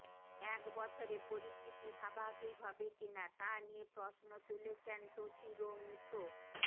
এক বছরে পরিস্থিতি স্বাভাবিক হবে কিনা তা নিয়ে প্রশ্ন তুলেছেন তোশিরো মুতো